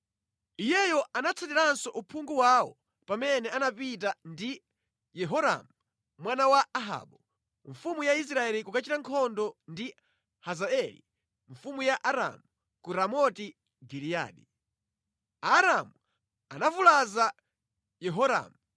Iyeyo anatsatiranso uphungu wawo pamene anapita ndi Yehoramu, mwana wa Ahabu, mfumu ya Israeli kukachita nkhondo ndi Hazaeli mfumu ya Aramu ku Ramoti Giliyadi. Aaramu anavulaza Yehoramu,